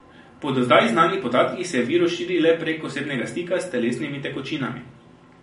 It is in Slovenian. Po do zdaj znanih podatkih se virus širi le prek osebnega stika s telesnimi tekočinami.